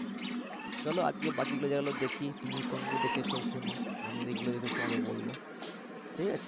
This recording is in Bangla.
চলো আজকে বাকিগুলো জায়গাগুলো দেখি তুমি কোন গুলো দেখেছো শুনি আমিও যেগুলো দেখেছি সেগুলো বলব ঠিক আছে।